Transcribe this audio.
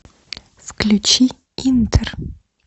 включи интер